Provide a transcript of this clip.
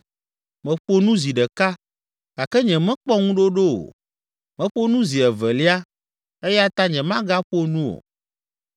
Meƒo nu zi ɖeka gake nyemekpɔ ŋuɖoɖo o; meƒo nu zi evelia eya ta nyemagaƒo nu o.”